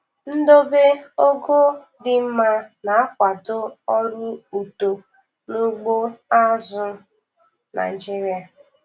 Ndobe ogo di mma na-akwado ọrụ uto n'ugbo azụ̀ Naịjiria.